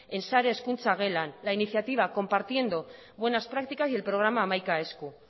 en sare hezkuntza gelan la iniciativa compartiendo buenas prácticas y el programa hamaika esku